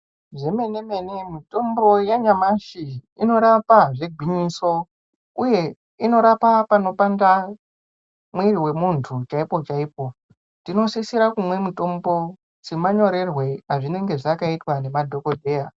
Zvemene mene mitombo yanyamashi unorapa zvegwinyiso uye Inorapa panopanda mwiri wemuntu chaipo chaipo tinosisa kumwa mitombo semanyorerwe azvinenge zvakaizwa nemadhokodheya.